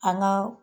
An ka